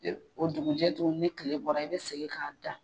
O dugujɛ tugu ni kile bɔra i bɛ segin k'a da.